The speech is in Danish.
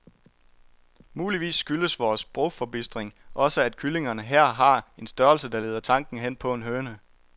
Muligvis skyldes vor sprogforbistring også, at kyllingerne her har en størrelse, der leder tanken hen på en høne.